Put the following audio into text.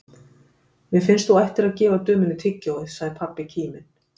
Mér finnst þú ættir nú að gefa dömunni tyggjóið, sagði pabbi kíminn.